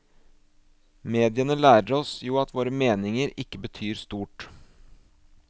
Mediene lærer oss jo at våre meninger ikke betyr stort.